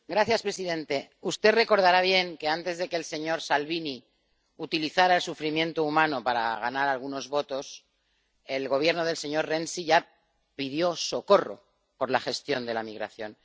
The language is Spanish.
Señor presidente, usted recordará bien que antes de que el señor Salvini utilizara el sufrimiento humano para ganar algunos votos, el Gobierno del señor Renzi ya pidió socorro por la gestión de la migración.